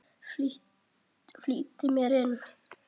Flýtti mér inn.